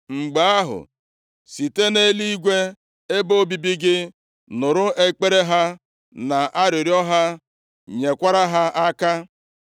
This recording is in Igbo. mgbe ahụ, site nʼeluigwe, ebe obibi gị, nụrụ ekpere ha na arịrịọ ha, nyekwara ha aka.